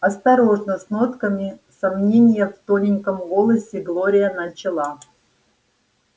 осторожно с нотками сомнения в тоненьком голосе глория начала